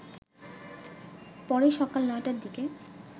পরে সকাল ৯টারদিকে